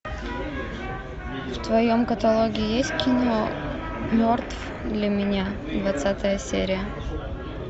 в твоем каталоге есть кино мертв для меня двадцатая серия